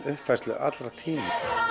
uppfærslu allra tíma